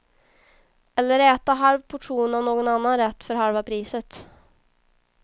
Eller äta halv portion av någon annan rätt för halva priset.